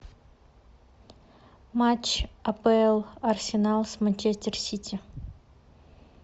матч апл арсенал с манчестер сити